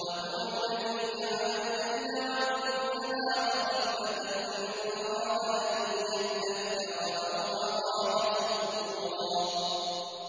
وَهُوَ الَّذِي جَعَلَ اللَّيْلَ وَالنَّهَارَ خِلْفَةً لِّمَنْ أَرَادَ أَن يَذَّكَّرَ أَوْ أَرَادَ شُكُورًا